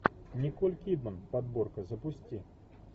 николь кидман подборка запусти